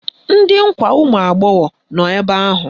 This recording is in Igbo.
Ndị nkwa ụmụagbọghọ nọ ebe ahụ!